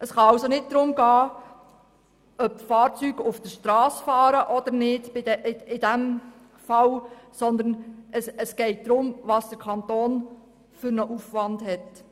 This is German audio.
Es kann also nicht darum gehen, ob die Fahrzeuge auf der Strasse fahren oder nicht, sondern darum, welchen Aufwand sie dem Kanton verursachen.